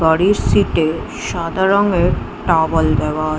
গাড়্রির seat - এ সাদা রঙের টাওয়েল দেওয়া আ--